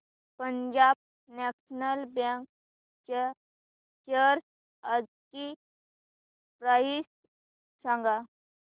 Punjab national bank च्या shares आजची price सांगा